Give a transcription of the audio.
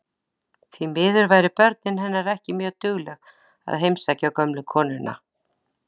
Því miður væru börnin hennar ekki mjög dugleg að heimsækja gömlu konuna.